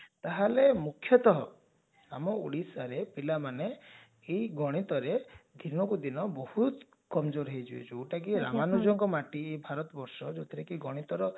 ତାହେଲେ ମୁଖ୍ଯତଃ ଆମ ଓଡିଶାରେ ପିଲାମାନେ ଏଇ ଗଣିତରେ ଦିନ କୁ ଦିନ ବହୁତ କମଜୋରହେଇଯିବେଯାଉଟ କି ଆମମାନଙ୍କର ମାଟି ଭାତରବର୍ଷ ଯଉଥିରେ କି ଗଣିତର